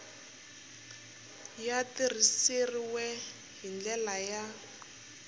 ya tirhisiwile hi ndlela ya